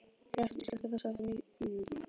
Gret, slökktu á þessu eftir níu mínútur.